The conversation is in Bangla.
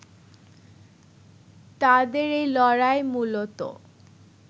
তাদের এই লড়াই মূলত